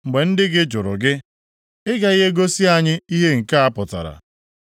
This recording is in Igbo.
“Mgbe ndị gị jụrụ gị, ‘Ị gaghị egosi anyị ihe nke a pụtara?’